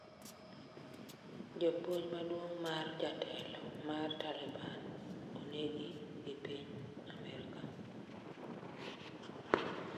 Japuonj maduong' mar jatelo mar Taliban neneg gi piny Amerka